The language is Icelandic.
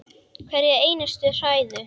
Hverja einustu hræðu!